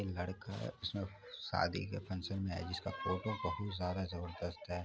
एक लड़का है उसने शादी के फंक्शन में है जिसका फोटो बहुत ज्यादा जबरदस्त है।